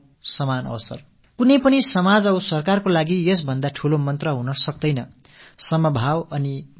எந்த ஒரு சமுதாயமாகட்டும் அரசாகட்டும் சமத்துவம் சமவாய்ப்பு என்பதை விடப் பெரியதொரு மந்திரம் வேறேதும் இருக்க முடியாது